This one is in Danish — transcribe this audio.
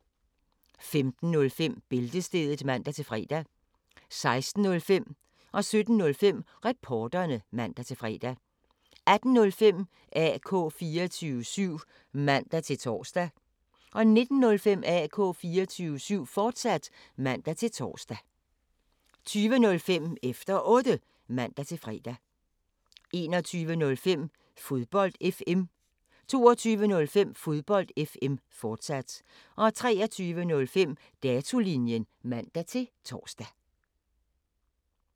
15:05: Bæltestedet (man-fre) 16:05: Reporterne (man-fre) 17:05: Reporterne (man-fre) 18:05: AK 24syv (man-tor) 19:05: AK 24syv, fortsat (man-tor) 20:05: Efter Otte (man-fre) 21:05: Fodbold FM 22:05: Fodbold FM, fortsat 23:05: Datolinjen (man-tor)